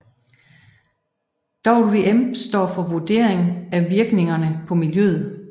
VVM står for Vurdering af Virkningerne på Miljøet